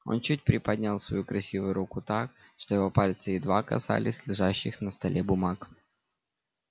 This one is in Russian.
он чуть приподнял свою красивую руку так что его пальцы едва касались лежащих на столе бумаг